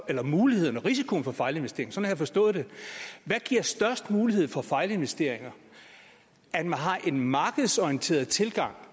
eller muligheden og risikoen for fejlinvesteringer sådan har jeg forstået det hvad giver størst mulighed for fejlinvesteringer en markedsorienteret tilgang